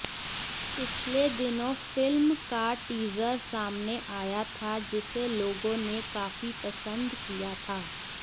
पिछले दिनों फिल्म का टीजर सामने आया था जिसे लोगों ने काफी पसंद किया था